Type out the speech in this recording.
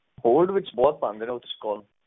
hold ਵਿਚ ਬਹੁਤ ਪਾਂਡੇ ਹੋ ਤੁਸੀਂ call